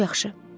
Çox yaxşı.